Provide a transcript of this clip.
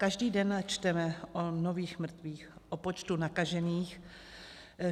Každý den čteme o nových mrtvých, o počtu nakažených.